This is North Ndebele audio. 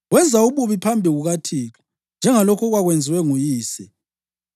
Wenza ububi phambi kukaThixo, njengalokhu okwakwenziwe nguyise.